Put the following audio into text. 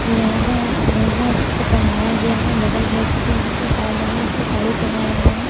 लहंगा लहंगा उसको पहनाया गया है बगल में एक एक और डमी में उसको साड़ी पहनाया गया है।